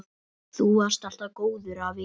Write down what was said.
Þú varst alltaf góður afi.